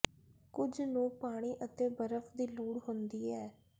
ਕੁਝ ਨੂੰ ਪਾਣੀ ਅਤੇ ਬਰਫ ਦੀ ਲੋੜ ਹੁੰਦੀ ਹੈ